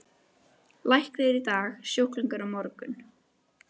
Læknir í dag, sjúklingur á morgun.